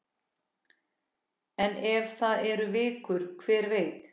En ef það eru vikur, hver veit?